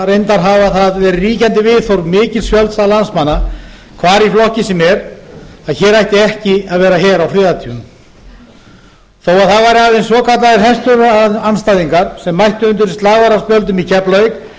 reyndar hafa það verið ríkjandi viðhorf mikils fjölda landsmanna hvar í flokki sem er að hér ætti ekki að vera her á friðartímum þó að það væru aðeins svokallaðir herstöðvarandstæðingar sem mættu undir slagorðaspjöldum í keflavík þá